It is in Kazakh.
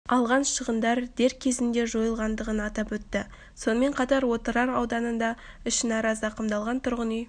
алған шығындар дер кезінде жойылғандығын атап өтті сонымен қатар отырар ауданында ішінара зақымдалған тұрғын үй